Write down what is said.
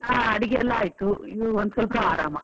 ಹಾ ಅಡಿಗೆ ಎಲ್ಲಾ ಆಯ್ತು, ಇನ್ನು ಒಂದ್ ಸ್ವಲ್ಪ ಆರಾಮ.